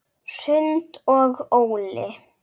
Hrund og Óli.